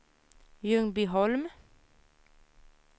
Ljungbyholm